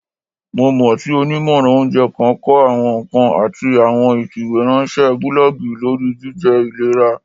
Mo mọ ti onimọran ounjẹ kan kọ awọn nkan ati awọn ifiweranṣẹ bulọọgi lori jijẹ ilera.